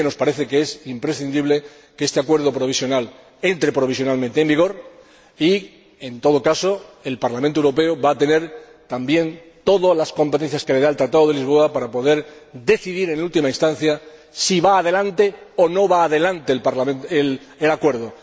Pero sí que nos parece que es imprescindible que este acuerdo provisional entre en vigor de momento y, en todo caso, el Parlamento Europeo va a tener también todas las competencias que le confiere el Tratado de Lisboa para poder decidir, en última instancia, si va adelante o no va adelante el acuerdo.